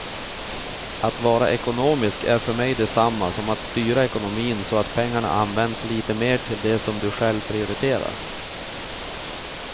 Att vara ekonomisk är för mig detsamma som att styra ekonomin så att pengarna används lite mer till det som du själv prioriterar.